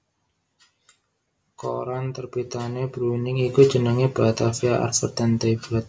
Koran terbitané Bruining iku jenengé Batavia Advertentieblad